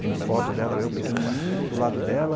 Tenho foto dela, eu pequenininho, do lado dela.